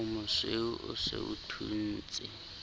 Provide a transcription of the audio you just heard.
omosweu o se o thuntse